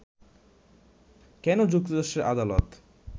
কেন যুক্তরাষ্ট্রের আদালত